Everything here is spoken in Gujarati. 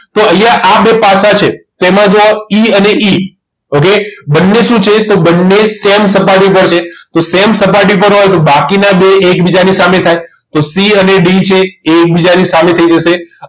તો અહીંયા આ બે પાસા છે તેમાં જુઓ E અને Eokay બંને શું છે તો બંને same સપાટી ઉપર છે તો same સપાટી પર હોય તો બાકીના બે એકબીજાની સામે થાય તો C અને D છે એ એકબીજાની સામે થઈ જશે